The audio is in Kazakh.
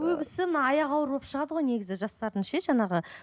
көбісі мына аяғы ауыр болып шығады ғой негізі жастардың ше жаңағы